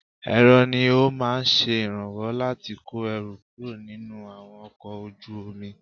Èrọ ni ó máa ń ṣe ìrànwọ́ láti kọ́ ẹrù kúrò nínú àwọn ọkọ̀ ojú omi.